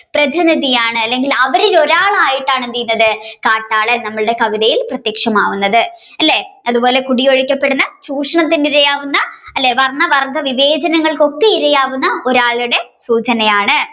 പ്രതിനിധിയാണ് അല്ലെങ്കിൽ അവരിൽ ഒരാളായിട്ടാണ് എന്ത് ചെയുന്നത് കാട്ടാളൻ നമ്മുടെ കവിതയിൽ പ്രതിഷയമാകുന്നത് അല്ലെ അതുപോലെ കുടിയൊഴിക്കപ്പെടുന്ന ചൂഷണത്തിന് ഇരയാകുന്ന അല്ലെ വർണ വർഗ വിവേചനങ്ങൾക്ക് ഇരയാകുന്ന ഒരാളുടെ ¯¯